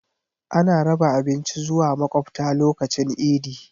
Ana raba abinci zuwa makwabta lokacin idi.